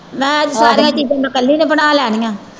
ਮੈਂ ਸਾਰੀਆਂ ਚੀਜ਼ਾਂ ਮੈਂ ਇਕੱਲੀ ਨੇ ਬਣਾ ਲੈਣੀਆਂ।